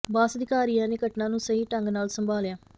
ਬਾਸ ਅਧਿਕਾਰੀਆਂ ਨੇ ਘਟਨਾ ਨੂੰ ਸਹੀ ਢੰਗ ਨਾਲ ਸੰਭਾਲਿਆ